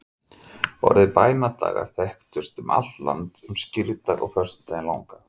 Orðið bænadagar þekkist um allt land um skírdag og föstudaginn langa.